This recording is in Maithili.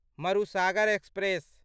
मरुसागर एक्सप्रेस